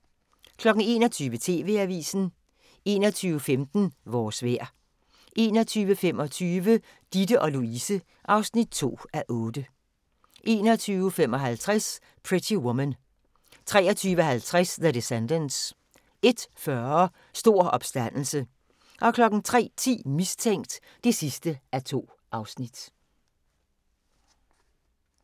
21:00: TV-avisen 21:15: Vores vejr 21:25: Ditte & Louise (2:8) 21:55: Pretty Woman 23:50: The Descendants 01:40: Stor opstandelse 03:10: Mistænkt (2:2)